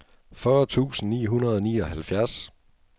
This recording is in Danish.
fyrre tusind ni hundrede og nioghalvfjerds